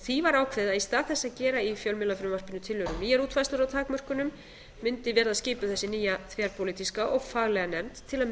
því var ákveðið að í stað þess að gera í fjölmiðlafrumvarpinu tillögu um nýjar útfærslur á takmörkunum mundi verða skipuð þessi nýja þverpólitíska og faglega nefnd til að